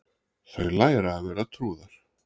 Þau læra að vera trúðar